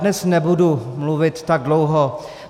Dnes nebudu mluvit tak dlouho.